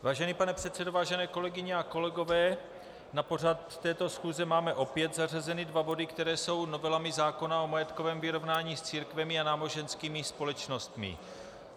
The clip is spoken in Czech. Vážený pane předsedo, vážené kolegyně a kolegové, na pořad této schůze máme opět zařazeny dva body, které jsou novelami zákona o majetkovém vyrovnání s církvemi a náboženskými společnostmi.